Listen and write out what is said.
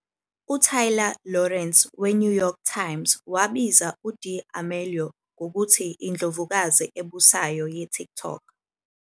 UTaylor Lorenz weNew York Times wabiza uD'Amelio ngokuthi "indlovukazi ebusayo" yeTikTok.